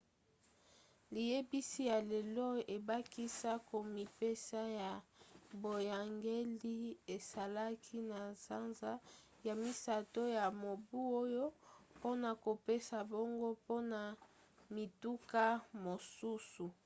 liyebisi ya lelo ebakisa komipesa ya boyangeli esalaki na sanza ya misato ya mobu oyo mpona kopesa mbongo mpona mituka mosusu